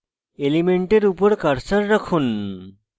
element উপর cursor রাখুন